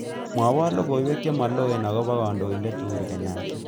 Mwawon logoywek chemaloen agoba kandoindet Uhuru Kenyatta